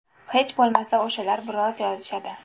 Hech bo‘lmasa o‘shalar biroz yozishadi.